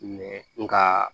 nga